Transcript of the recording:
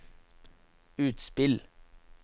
utspill